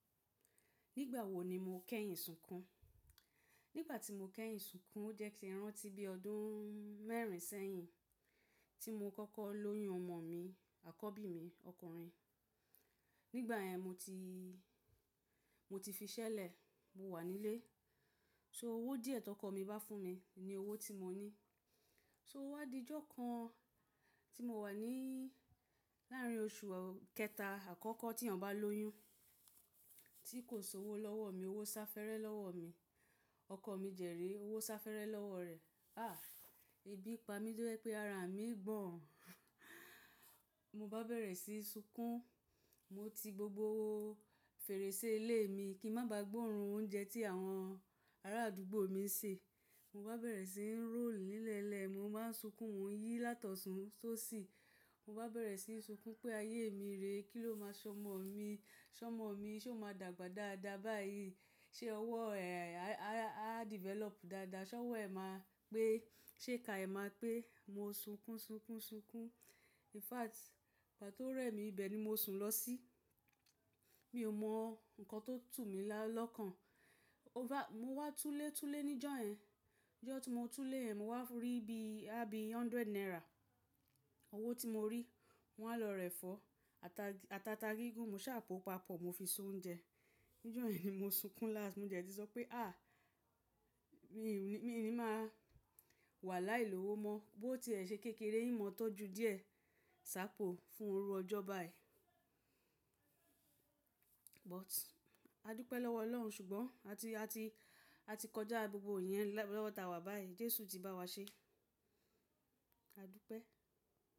Nígbà wó ní mó kẹ́yìn sùnkún? Nígbà tí mó kẹ́yìn sùnkún ó jẹ́ kí rántí bí ọdún mẹ́rin sẹ́yìn tí mó kọ́kọ́ lóyún ọmọ mí àkọ́bí mí ọkùnrín. Nígbà yẹn mó tí, mó tí fí ìṣẹ̀lẹ̀ mó wà nílé so owó díẹ̀ tí ókọ mí bá fún mí ní owó tí mó ní. So ó wá dí íjo kàn tí mo wà ní láàrín oṣù kẹta àkọ́kọ́ tí ọ̀yán bá lóyún tí kò sí owó lọ́wọ́ mi, owó sá fẹ́rẹ́ lọ́wọ́ mi. Ọkọ mí dẹ́ ré owó sá fẹ́rẹ́ lọ́wọ́ rẹ̀. Ah! Ébi pá mí tò jẹ́ pé ára mí ń gbọ̀n. Mo bá bẹ̀rẹ̀ síí sunkún. Mo tí gbògbò fèrèsé ilé mi kí n má bá gbóòórùn oúnjẹ tí àwọn ará àdúgbò mi ń ṣe. Mo bá bẹ̀rẹ̀ sí ń róll n ìlẹ́lẹ̀. Mo má ń sunkún, mó n yí látọ̀sún só sì. Mo bá bẹ̀rẹ̀ síí sunkún pé ayé mi rèé. Kí ló máa ṣọmọ mi? Ṣọmọ mi ṣé ó máa dàgbà dáadáa báyìí? Ṣé ọwọ́ rẹ̀ á develop dáadáa? Ṣé ọwọ́ ẹ máa pé? Ṣé ìka ẹ máa pé? Mo ń sunkún, sunkún, sunkún. In fact, ìgbà tó rẹ́ mi ibẹ̀ ní mó sùn lọ sí. Mi ò mọ nǹkan tó tú mi lọ́kàn. Over-- mo wá túlé túlé níjọ́ yẹn. Ọjọ́ tí mo túlé yẹn mo wá rí bí, àbí hundred naira. Owó tí mo rí mó wá lọ rẹ̀ fọ́. Àtí átá gígùn mó ṣà pó papọ̀ mo fi ṣe oúnjẹ. Níjọ́ yẹn ni mo sunkún last. Mo dẹ̀tí sọ pé à, mi ni mà wà láì lowó mọ́. Bó ti ẹ̀ ṣe kékeré ìmọ̀ọ́ tọ́jú díẹ̀ ṣàpò fún ìru ọjọ́ báyìí. But a dúpẹ́ lọ́wọ́ Ọlọ́run ṣùgbọ́n a ti, a ti, a ti kọjá gbògbò ìyẹn lọ́wọ́tawa báyìí. Jésù ti bá wa ṣe. A dúpẹ́.